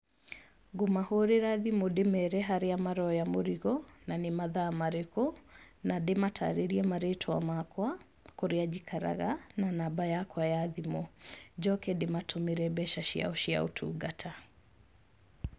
Ngũmahũrĩra thimũ ndĩmere harĩa maroya mũrigo, na nĩ mathaa marĩkũ, na ndĩmatarĩrie marĩtwa makwa, kũrĩa njikaraga, na namba yakwa ya thimũ. Njoke ndĩmatũmĩre mbeca ciao cia ũtungata.